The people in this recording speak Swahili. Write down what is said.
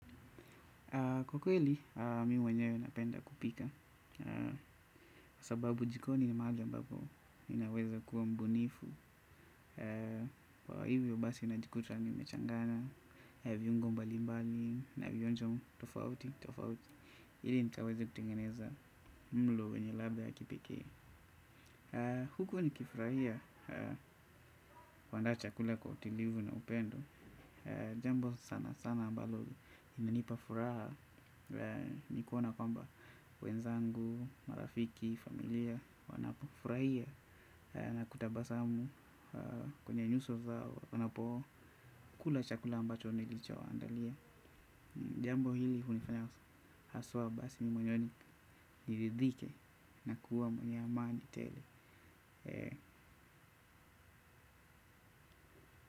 Kwa kweli, mimi mwenyewe napenda kupika. Sababu jikoni ni mahali ambapo ninaweza kuwa mbunifu. Kwa hivyo basi najikuta nimechanganya viungo mbalimbali na vionjo tofauti tofauti ili nikaweze kutengeneza mlo wenye ladha ya kipekee. Huku nikifurahia kuandaa chakula kwa utulivu na upendo. Jambo sana sana ambalo inanipa furaha. Nikuona kwamba wenzangu, marafiki, familia wanapofurahia na kutabasamu kwenye nyuso zao wanapokula chakula ambacho nilichowaandalia. Jambo hili hunifanya haswa basi moyoni niridhike na kuwa mwenye amani tele.